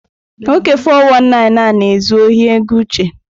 Nwoke 419 a na-ezu ohi ego Uche.